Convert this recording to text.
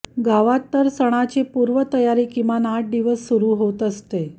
गावात तर सणाची पूर्व तयारी किमान आठ दिवस सुरु होत असते